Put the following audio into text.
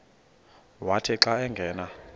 wathi xa angena